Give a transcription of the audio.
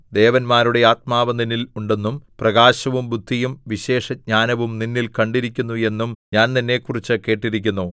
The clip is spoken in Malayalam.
ദേവന്മാരുടെ ആത്മാവ് നിന്നിൽ ഉണ്ടെന്നും പ്രകാശവും ബുദ്ധിയും വിശേഷജ്ഞാനവും നിന്നിൽ കണ്ടിരിക്കുന്നു എന്നും ഞാൻ നിന്നെക്കുറിച്ച് കേട്ടിരിക്കുന്നു